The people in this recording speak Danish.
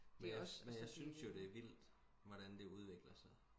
det også men jeg synes jo det er vildt hvordan det udvikler sig